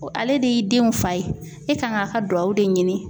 Ale de y'i denw fa ye e kan k'a ka duwawu de ɲini